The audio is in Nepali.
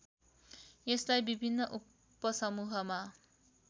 यसलाई विभिन्न उपसमूहमा